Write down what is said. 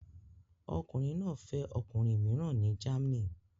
Ọkùnrin náà fẹ́ ọkùnrin mìíràn ní Germany